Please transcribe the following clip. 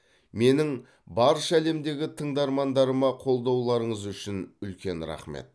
менің барша әлемдегі тыңдармандарыма қолдауларыңыз үшін үлкен рақмет